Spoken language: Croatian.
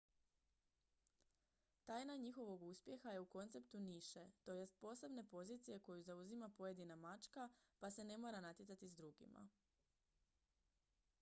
tajna njihova uspjeha je u konceptu niše to jest posebne pozicije koju zauzima pojedina mačka pa se ne mora natjecati s drugima